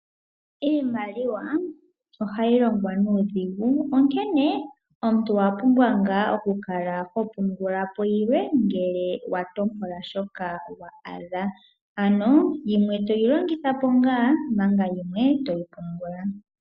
Iimaliwa ohayi longwa nuudhingu, onkene omuntu owa pumbwa okukala ngaa ho pungula po yimwe ngele wa tompola po shoka wa adha. Ano yimwe toyi longitha po ngaa manga yimwe toyi pungula.